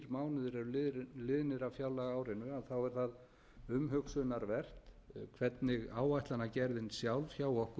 mánuðir eru liðnir af fjárlagaárinu er það umhugsunarvert hvernig áætlanagerðin sjálf hjá okkur